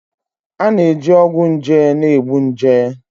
A na-eji ọgwụ nje na-egbu nje